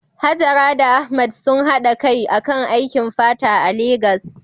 Hajara da Ahmad sun haɗa kai akan aikin fata a Legas.